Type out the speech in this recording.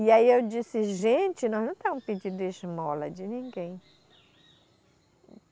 E aí eu disse, gente, nós não estamos pedindo esmola de ninguém.